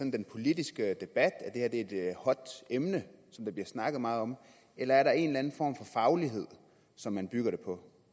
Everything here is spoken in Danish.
i den politiske debat et emne der bliver snakket meget om eller er der en eller anden form for faglighed som man bygger det på